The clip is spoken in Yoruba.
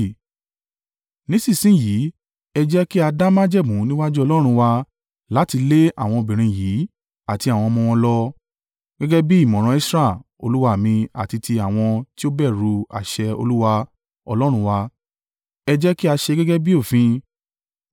Nísìnsinyìí, ẹ jẹ́ kí a dá májẹ̀mú níwájú Ọlọ́run wa láti lé àwọn obìnrin yìí àti àwọn ọmọ wọn lọ. Gẹ́gẹ́ bí ìmọ̀ràn Esra olúwa mi àti ti àwọn tí ó bẹ̀rù àṣẹ Olúwa Ọlọ́run wa. Ẹ jẹ́ kí a ṣe gẹ́gẹ́ bí òfin.